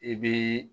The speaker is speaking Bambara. I bɛ